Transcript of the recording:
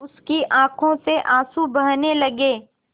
उसकी आँखों से आँसू बहने लगे